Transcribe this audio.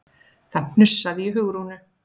Það hnussaði í Hugrúnu.